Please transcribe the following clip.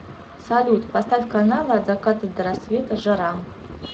салют поставь каналы от заката до рассвета жара